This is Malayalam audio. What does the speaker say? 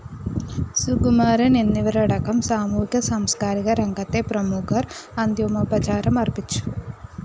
സുകുമാരന്‍ എന്നിവരടക്കം സാമൂഹിക സാംസ്‌കാരിക രംഗത്തെ പ്രമുഖര്‍ അന്ത്യമോപചാരം അര്‍പ്പിച്ചു